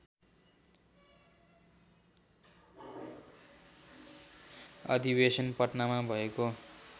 अधिवेशन पटनामा भएको